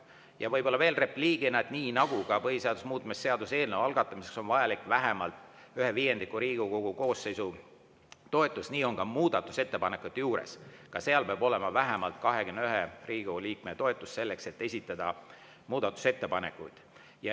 Ja võib-olla veel repliigina, et nii nagu ka põhiseaduse muutmise seaduse eelnõu algatamiseks on vajalik vähemalt ühe viiendiku Riigikogu koosseisu toetus, nii on ka muudatusettepanekute puhul, ka seal peab olema vähemalt 21 Riigikogu liikme toetus, selleks et esitada muudatusettepanekuid.